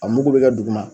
A mugu bɛ kɛ duguma